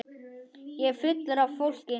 Ég er fullur af fólki.